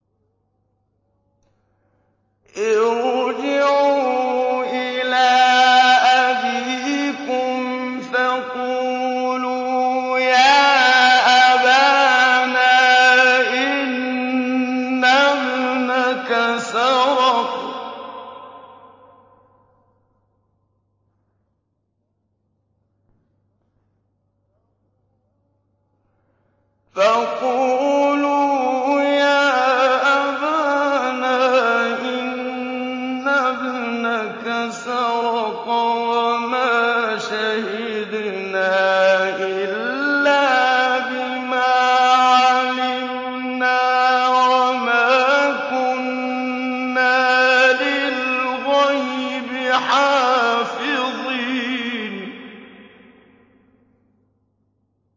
ارْجِعُوا إِلَىٰ أَبِيكُمْ فَقُولُوا يَا أَبَانَا إِنَّ ابْنَكَ سَرَقَ وَمَا شَهِدْنَا إِلَّا بِمَا عَلِمْنَا وَمَا كُنَّا لِلْغَيْبِ حَافِظِينَ